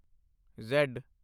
Z